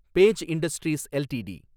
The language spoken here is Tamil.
page Industries LTD